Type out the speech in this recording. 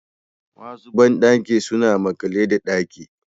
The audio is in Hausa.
Wasu bandaki suna makale da daki